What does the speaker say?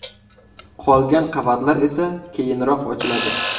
Qolgan qavatlar esa keyinroq ochiladi.